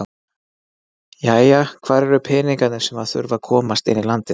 Jæja, hvar eru peningarnir sem að þurfa að komast inn í landið?